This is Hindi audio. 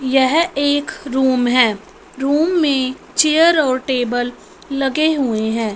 यह एक रूम है रूम में चेयर और टेबल लगे हुए हैं।